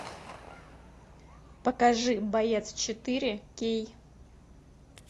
покажи боец четыре кей